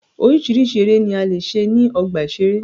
Oríṣiríṣi eré ni a lè ṣe ní ọgbà ìṣeré.